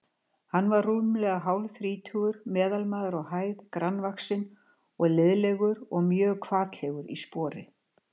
Hann var rúmlega hálfþrítugur, meðalmaður á hæð, grannvaxinn og liðlegur og mjög hvatlegur í spori.